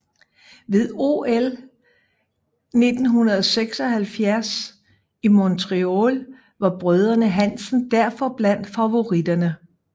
Ved OL 1976 i Montreal var brødrene Hansen derfor blandt favoritterne